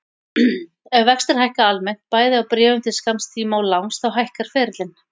Ef vextir hækka almennt, bæði á bréfum til skamms tíma og langs, þá hækkar ferillinn.